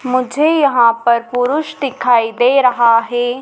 मुझे यहाँ पर पुरुष दिखाई दे रहा हैं।